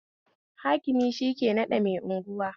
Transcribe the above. Hakimi shike naɗa mai anguwa